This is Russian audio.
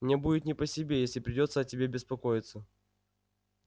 мне будет не по себе если придётся о тебе беспокоиться